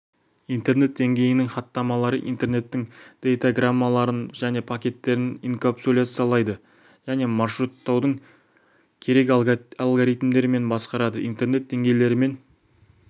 интернет деңгейінің хаттамалары интернеттің дейтаграммаларын және пакеттерін инкапсуляциялайды және маршруттаудың керек алгоритмдерімен басқарады интернет деңгейлерімен